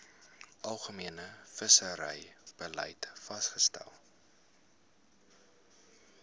algemene visserybeleid vasgestel